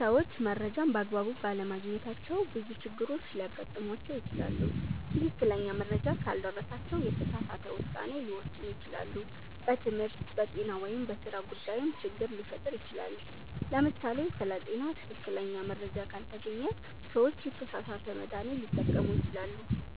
ሰዎች መረጃን በአግባቡ ባለማግኘታቸው ብዙ ችግሮች ሊያጋጥሟቸው ይችላሉ። ትክክለኛ መረጃ ካልደረሳቸው የተሳሳተ ውሳኔ ሊወስኑ ይችላሉ፣ በትምህርት፣ በጤና ወይም በሥራ ጉዳይም ችግር ሊፈጠር ይችላል። ለምሳሌ ስለ ጤና ትክክለኛ መረጃ ካልተገኘ ሰዎች የተሳሳተ መድሃኒት ሊጠቀሙ ይችላሉ።